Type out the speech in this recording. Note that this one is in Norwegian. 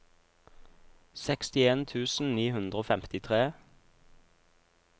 sekstien tusen ni hundre og femtitre